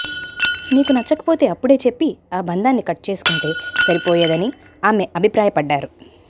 నీకు నచ్చకపోతే అప్పుడే చెప్పి ఆ బంధాన్ని కట్ చేసుకొంటే సరిపోయేదని ఆమె అభిప్రాయపడ్డారు